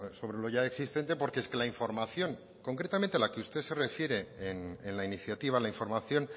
sobre lo ya existente porque es que la información concretamente la que usted se refiere en la iniciativa la información